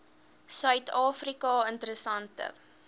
suid afrika interessante